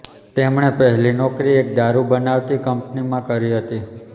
તેમણે પહેલી નોકરી એક દારુ બનાવતી કંપનીમાં કરી હતી